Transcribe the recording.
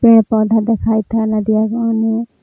पेड़-पौधा देखाईत हय नदिया के ओने।